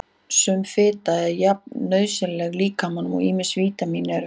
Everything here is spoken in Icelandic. Sum fita er jafn nauðsynleg líkamanum og ýmis vítamín eru.